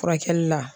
Furakɛli la